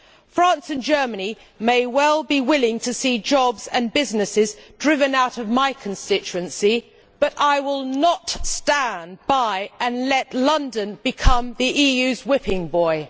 France and Germany may well be willing to see jobs and businesses driven out of my constituency, but I will not stand by and let London become the EU's whipping boy.